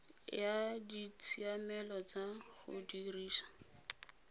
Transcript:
ya ditshiamelo tsa go dirisa